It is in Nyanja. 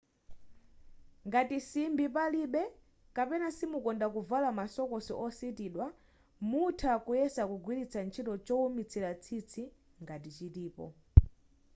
ngati simbi palibe kapena simukonda kuvala ma sokosi ositidwa mutha kuyesa kugwiritsa ntchito choumitsira tsitsi ngati chilipo